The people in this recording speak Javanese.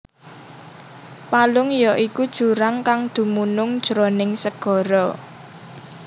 Palung ya iku jurang kang dumunung jroning segara